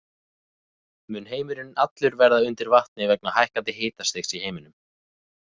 Mun heimurinn allur verða undir vatni vegna hækkandi hitastigs í heiminum?